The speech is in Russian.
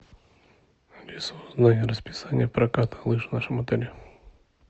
алиса узнай расписание проката лыж в нашем отеле